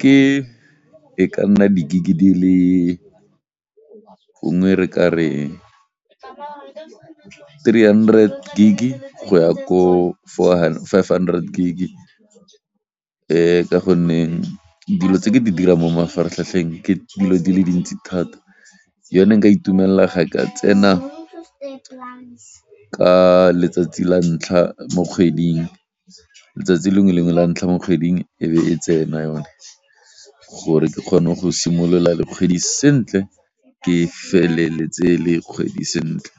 Ke e ka nna di Gig di le, gongwe re ka re three hundred Gig go ya ko five hundred Gig ka gonne dilo tse ke di dirang mo mafaratlhatlheng ke dilo di le dintsi thata yone nka itumella ga e ka tsena ka letsatsi la ntlha mo kgweding, letsatsi lengwe le lengwe la ntlha mo kgweding e be e tsena yone gore ke kgone go simolola le kgwedi sentle ke feleletse le kgwedi sentle.